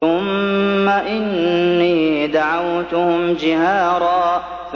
ثُمَّ إِنِّي دَعَوْتُهُمْ جِهَارًا